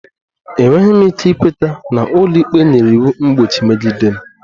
Enweghị m ike ikweta na ụlọikpe nyere iwu mgbochi megide m